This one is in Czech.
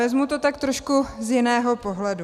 Vezmu to tak trošku z jiného pohledu.